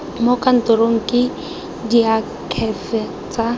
mo kantorong ke diakhaefe tsa